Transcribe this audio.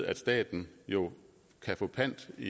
at staten jo kan få pant i